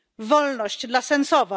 Wolność dla Sencowa!